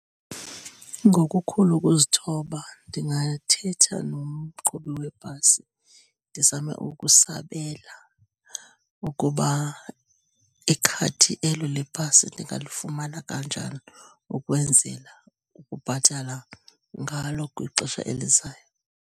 Ngokukhulu ukuzithoba ndingathetha nomqhubi webhasi ndizame ukusabela ukuba ikhadi elo lebhasi ndingalifumana kanjani ukwenzela ukubhatala ngalo kwixesha elizayo.